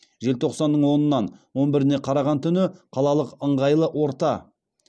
желтоқсанның онынан он біріне қараған түні қалалық ыңғайлы орта